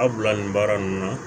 Aw bila nin baara ninnu na